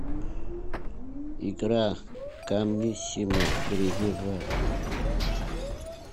игра гамниссимо перейди в